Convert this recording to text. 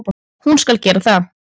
Hún skal gera það.